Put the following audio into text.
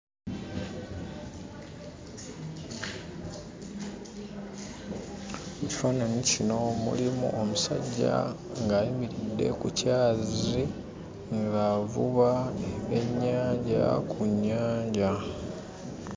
Mu kifaananyi kino mulimu omusajja ng'ayimiridde ku kyazi ng'avuba ebyennyanja ku nnyanja.